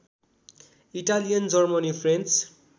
Italian Germany French